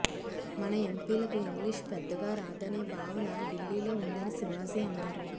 మన ఎంపీలకు ఇంగ్లీషు పెద్దగా రాదనే భావన ఢిల్లీలో ఉందని శివాజీ అన్నారు